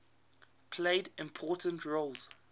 played important roles